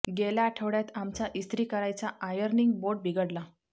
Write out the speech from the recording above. गेल्या आठवड्यात आमचा इस्त्री करायचा आयर्निंग बोर्ड बिघडला